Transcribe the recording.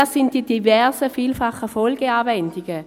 Das sind die diversen, vielfachen Folgeanwendungen.